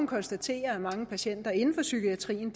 konstatere at mange patienter inden for psykiatrien